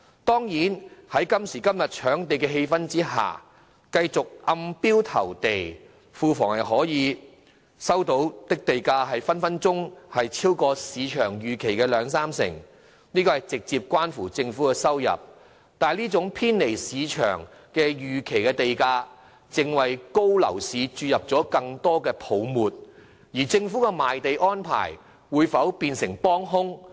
當然，在今時今日的搶地氣氛下，繼續暗標投地，庫房收到的地價隨時可超出市場預期的兩三成，這直接關乎政府的收入，但這種偏離市場預期的地價，正為熾熱的樓市注入更多泡沫，而政府的賣地安排會否變成幫兇呢？